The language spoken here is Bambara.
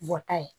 Bɔta ye